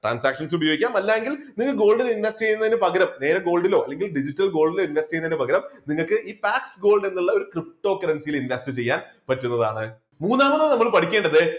transaction ല് ഉപയോഗിക്കാം അല്ലെങ്കിൽ നിങ്ങൾ gold ൽ investment ചെയ്യുന്നതിന് പകരം നേരെ gold ലോ അല്ലെങ്കിൽ digital gold ലോ invest ചെയ്യുന്നതിന് പകരം നിങ്ങൾക്ക് ഈ black gold എന്നുള്ള ptocurrency യിൽ invest ചെയ്യാൻ പറ്റുന്നതാണ് മൂന്നാമത് നമ്മൾ പഠിക്കേണ്ടത്